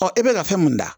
e bɛ ka fɛn mun da